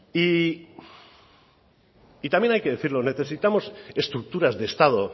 y también hay que decirlo necesitamos estructuras de estado